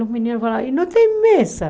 E os meninos falaram, e não tem mesa.